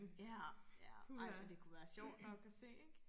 ja ja ej men det kunne være sjovt nok og se ikke